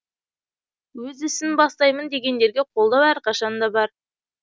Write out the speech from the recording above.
өз ісін бастаймын дегендерге қолдау әрқашан да бар